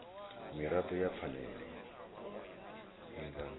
mirado ya phanele i nga